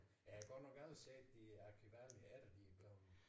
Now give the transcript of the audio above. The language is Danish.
Jeg har godt nok aldrig set de arkivaler de er der de er blevet